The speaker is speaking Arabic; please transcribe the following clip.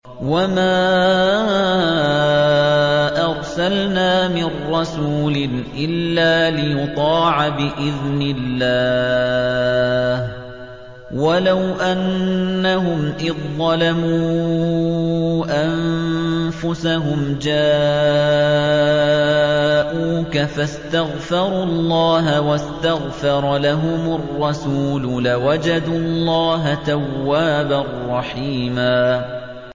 وَمَا أَرْسَلْنَا مِن رَّسُولٍ إِلَّا لِيُطَاعَ بِإِذْنِ اللَّهِ ۚ وَلَوْ أَنَّهُمْ إِذ ظَّلَمُوا أَنفُسَهُمْ جَاءُوكَ فَاسْتَغْفَرُوا اللَّهَ وَاسْتَغْفَرَ لَهُمُ الرَّسُولُ لَوَجَدُوا اللَّهَ تَوَّابًا رَّحِيمًا